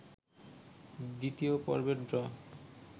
২য় পর্বের ড্র